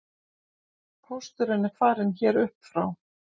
Pósturinn er farinn hér upp frá